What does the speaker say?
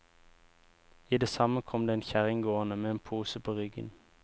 I det samme kom det en kjerring gående med en pose på ryggen.